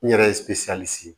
N yɛrɛ ye sigi